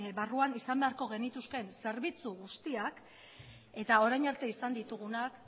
barruan izan beharko genituzkeen zerbitzu guztiak eta orain arte izan ditugunak